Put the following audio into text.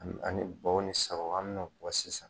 An bɛ taa ni baw ni sagaw an bɛ no bɔ sisan.